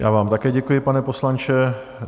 Já vám také děkuji, pane poslanče.